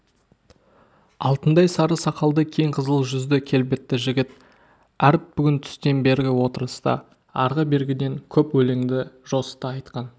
алтындай сары сақалды кең қызыл жүзді келбетті жігіт әріп бүгін түстен бергі отырыста арғы-бергіден көп өлеңді жосыта айтқан